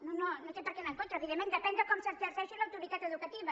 no no no té perquè anar en contra evidentment depèn de com s’exerceixi l’autoritat educativa